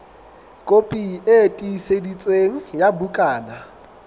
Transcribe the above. kopi e tiiseditsweng ya bukana